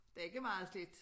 Det ikke meget slidt